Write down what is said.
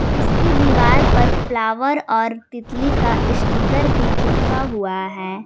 इसकी दीवार पर फ्लावर और तितली का स्टीकर भी चिपका हुआ है।